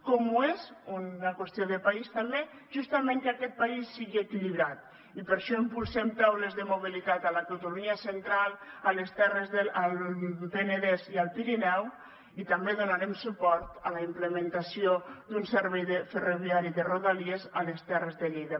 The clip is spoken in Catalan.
com ho és una qüestió de país també justament que aquest país sigui equilibrat i per això impulsem taules de mobilitat a la catalunya central al penedès i al pirineu i també donarem suport a la implementació d’un servei ferroviari de rodalies a les terres de lleida